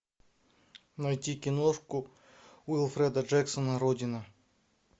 найти киношку уилфреда джексона родина